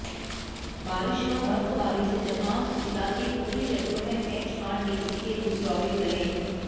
बारिश व बर्फबारी से जहां जिला के ऊपरी क्षेत्रों में एचआरटीसी के रुट प्रभावित रहे